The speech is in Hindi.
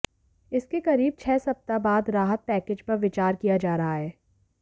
इसके करीब छह सप्ताह बाद राहत पैकेज पर विचार किया जा रहा है